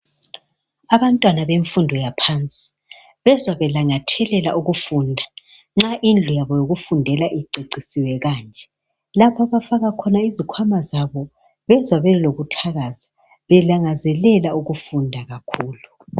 Abantwana bemfundo yaphansi bezwa belangathelela ukufunda nxa indlu yabo yokufundela icecisiwe kanje. Lapha abafaka khona izikhwama zabo bezwa belokuthakaza belangazelela ukufunda kakhulu.